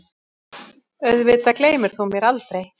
Auðvitað gleymir þú mér aldrei.